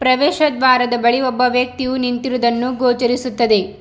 ಪ್ರವೇಶದ್ ದ್ವಾರದ ಬಳಿ ಒಬ್ಬ ವ್ಯಕ್ತಿಯು ನಿಂತಿರುವುದನ್ನು ಗೋಚರಿಸುತ್ತದೆ.